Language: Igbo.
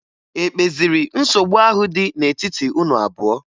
E kpeziri nsogbu ahụ dị n'etiti unu abụọ?